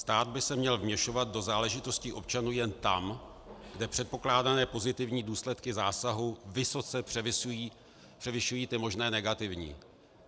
Stát by se měl vměšovat do záležitostí občanů jen tam, kde předpokládané pozitivní důsledky zásahu vysoce převyšují ty možné negativní.